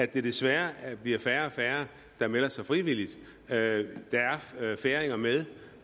det desværre bliver færre og færre der melder sig frivilligt der er færinger med